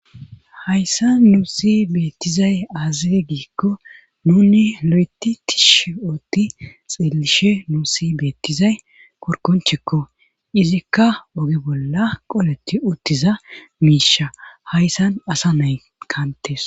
Hayssa nuusi beettizay aaze giikko nuuni lo7eti tishi ootti xeelishe nusi beettizay korkonchikko izikka oge bolla qoleti uttiza miisha hayssan asa nay kantes.